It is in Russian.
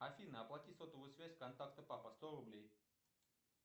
афина оплати сотовую связь контакта папа сто рублей